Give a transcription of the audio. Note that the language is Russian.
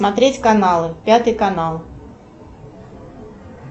смотреть каналы пятый канал